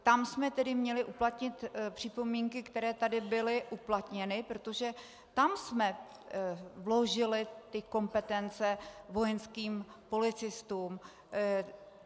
Tam jsme tedy měli uplatnit připomínky, které tady byly uplatněny, protože tam jsme vložili ty kompetence vojenským policistům.